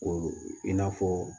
O i n'a fɔ